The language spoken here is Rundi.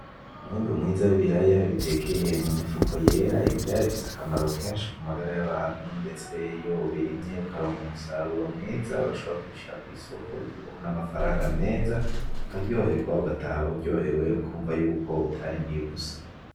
Umwimbu mwiza w'ibiraya bitekeye mu mifuko yera, ibiraya bifise akamaro kenshi ku magara y'abantu ndetse iyo ubirimye ukaronka umusaruro mwiza urashobora kubishira kw'isoko bikaguha n'amafaranga meza, ukaryohegwa ugataha uryohewe, ukumva yuko utarimiye ubusa.